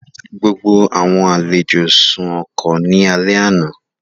Gbogbo àwọn àlejò sùn ọkọ̀ ní alẹ́ àná